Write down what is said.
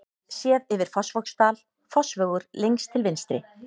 Séð yfir Fossvogsdal, Fossvogur lengst til vinstri.